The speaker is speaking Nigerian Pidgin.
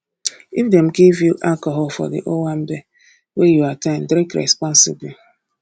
if dem give alcohol for di owambe wey you at ten d drink responsibly